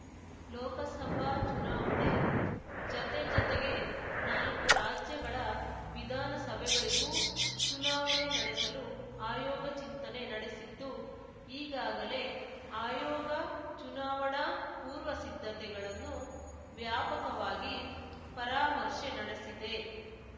ಲೋಕಸಭಾ ಚುನಾವಣೆ ಜತೆ ಜತೆಗೆ ನಾಲಕ್ಕು ರಾಜ್ಯಗಳ ವಿಧಾನಸಭೆಗಳಿಗೂ ಚುನಾವಣೆ ನಡೆಸಲು ಆಯೋಗ ಚಿಂತನೆ ನಡೆಸಿದ್ದು ಈಗಾಗಲೇ ಆಯೋಗ ಚುನಾವಣಾ ಪೂರ್ವ ಸಿದ್ಧತೆಗಳನ್ನು ವ್ಯಾಪಕವಾಗಿ ಪರಾಮರ್ಶೆ ನಡೆಸಿದೆ